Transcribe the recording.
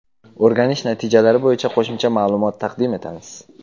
O‘rganish natijalari bo‘yicha qo‘shimcha ma’lumot taqdim etamiz.